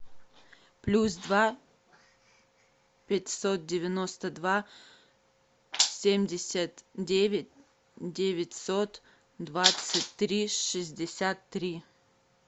плюс два пятьсот девяносто два семьдесят девять девятьсот двадцать три шестьдесят три